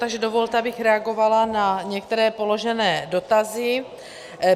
Takže dovolte, abych reagovala na některé položené dotazy.